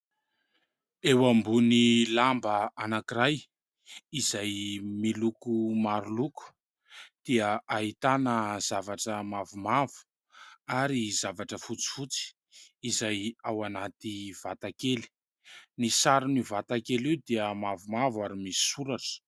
Eo ambony lamba anankiray izay miloko maro loko dia ahitana zavatra mavomavo ary zavatra fotsifotsy izay ao anaty vatakely, ny saron'io vatakely io dia mavomavo ary misy soratra.